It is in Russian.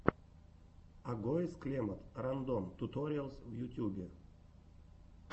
агоез клемод рандом туториалс в ютьюбе